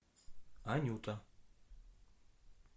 анюта